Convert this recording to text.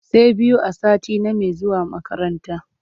Say biyu a sati name zuwa makaranta.